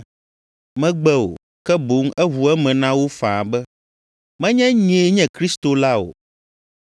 Megbe o, ke boŋ eʋu eme na wo faa be, “Menye nyee nye Kristo la o.”